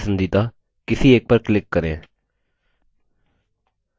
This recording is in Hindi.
आपके पसंदीदा किसी एक पर क्लिक करें